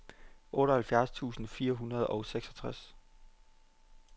otteoghalvfjerds tusind fire hundrede og seksogtres